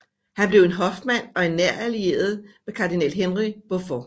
Han blev en hofmand og en nær allieret med kardinal Henry Beaufort